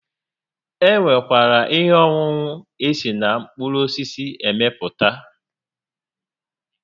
E nwekwara ihe ọṅụṅụ esi na mkpụrụ osisi emepụta